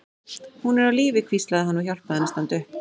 Hún er á lífi, hvíslaði hann og hjálpaði henni að standa upp.